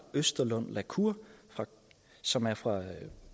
østerlund la cour som er fra